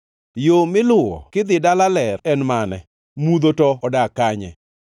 “Yo miluwo kidhi dala ler en mane? Mudho to odak kanye?